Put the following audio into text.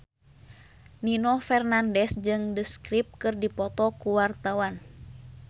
Nino Fernandez jeung The Script keur dipoto ku wartawan